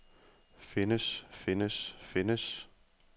findes findes findes